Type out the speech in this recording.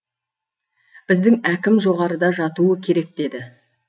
біздің әкім жоғарыда жатуы керек деді